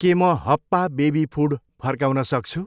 के म हप्पा बेबी फुड फर्काउन सक्छु?